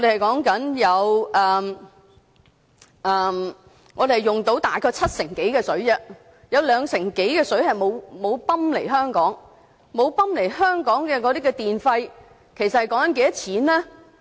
本港現時大約使用七成多東江水，有兩成多的水沒有泵來港，這方面使用的電費是多少錢呢？